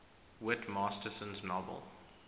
whit masterson's novel